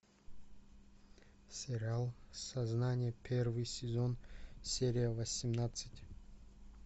сериал сознание первый сезон серия восемнадцать